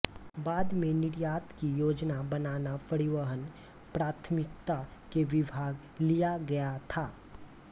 बाद में निर्यात की योजना बनाना परिवहन प्राथमिकता के विभाग लिया गया था